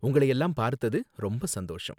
உங்களயெல்லாம் பார்த்தது ரொம்ப சந்தோஷம்